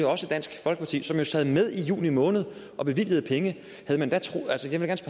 også dansk folkeparti som jo sad med i juni måned og bevilgede penge